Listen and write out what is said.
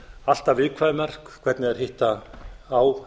alltaf viðkvæmar hvernig þær hitta á